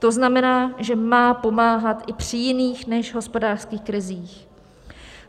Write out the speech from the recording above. To znamená, že má pomáhat i při jiných než hospodářských krizích.